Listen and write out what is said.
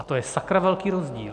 A to je sakra velký rozdíl.